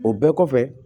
O bɛɛ kɔfɛ